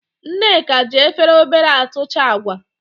Nneka ji Efere obosara atucha Agwa